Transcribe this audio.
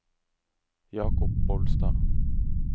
Jakob Bolstad